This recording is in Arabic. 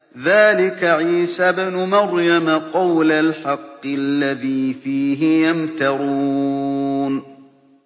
ذَٰلِكَ عِيسَى ابْنُ مَرْيَمَ ۚ قَوْلَ الْحَقِّ الَّذِي فِيهِ يَمْتَرُونَ